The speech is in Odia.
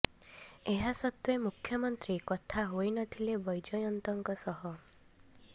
ଏହା ସତ୍ତ୍ୱେ ମୁଖ୍ୟମନ୍ତ୍ରୀ କଥା ହୋଇ ନଥିଲେ ବୈଜୟନ୍ତଙ୍କ ସହ